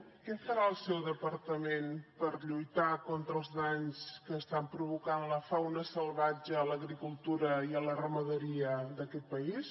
què farà el seu departament per lluitar contra els danys que estan provocant la fauna salvatge a l’agricultura i a la ramaderia d’aquest país